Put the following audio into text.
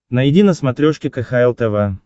найди на смотрешке кхл тв